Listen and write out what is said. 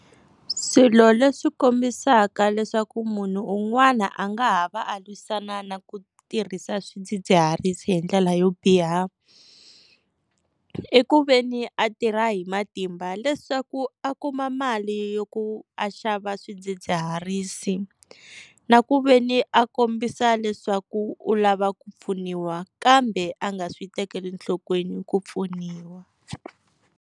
Swilo leswi kombisaka leswaku munhu un'wana a nga ha va a lwisana na ku tirhisa swidzidziharisi hi ndlela yo biha, i ku veni a tirha hi matimba leswaku a kuma mali yo ku a xava swidzidziharisi na ku veni a kombisa leswaku u lava ku pfuniwa kambe a nga swi tekeli enhlokweni ku pfuniwa.